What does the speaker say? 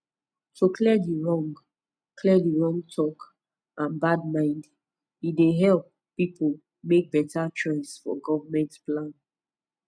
to clear di wrong clear di wrong talk and bad mind e dey help people make better choice for government plan